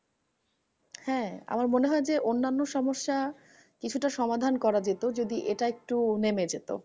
হ্যাঁ আমার মনে হয় যে, অন্যানো সমস্যা কিছুটা সমাধান করা যেত, যদি এটা একটু নেমে যেত।